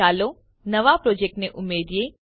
ચાલો નવો પ્રોજેક્ટ ને ઉમેરીએ